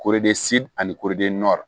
Koori de si ani kori